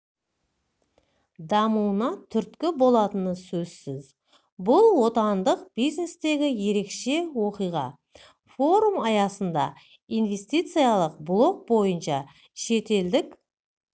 дамуына түрткі болатыны сөзсіз бұл отандық бизнестегі ерекше оқиға форум аясында инвестициялық блок бойынша шетелдік